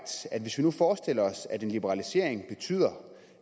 at hvis vi nu forestiller os at en liberalisering betyder